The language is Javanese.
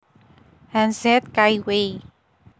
Hanz Zeth Kaiway